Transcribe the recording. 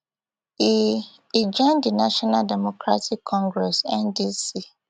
e e join di national democratic congress ndc